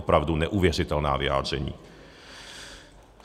Opravdu neuvěřitelná vyjádření.